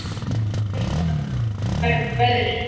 Fer það eftir veðri.